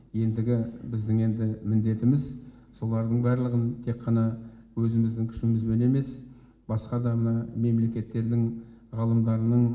ендігі біздің енді міндетіміз солардың барлығын тек қана өзіміздің күшімізбен емес басқа да мына мемлекеттердің ғалымдарының